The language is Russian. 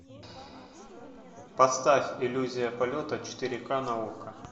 поставь иллюзия полета четыре ка на окко